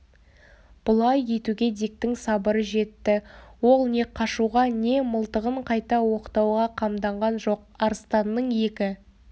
бұлай етуге диктің сабыры жетті ол не қашуға не мылтығын қайта оқтауға қамданған жоқ арыстанның екі